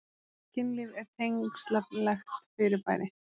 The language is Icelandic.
Kynlíf er tengslalegt fyrirbæri.